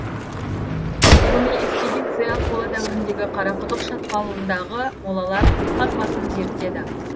ғылыми экспедиция қола дәуіріндегі қарақұдық шатқалындағы молалар қазбасын зерттеді